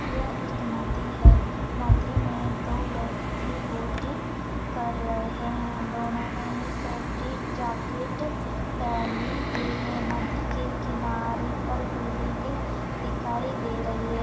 यह एक नदी है नदी में दो व्यक्ति बोटिंग कर रहे है दोनों ने ही सेफ्टी जैकेट पहनी हुई है नदी के किनारे पर बिल्डिंग दिखाई दे रही है।